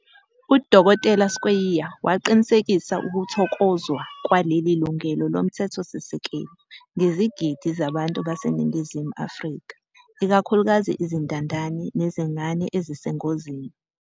UDkt Skweyiya waqinisekisa ukuthokozwa kwaleli lungelo lomthethosisekelo ngezigidi zabantu baseNingizimu Afrika, ikakhulukazi izintandane nezingane ezisengozini.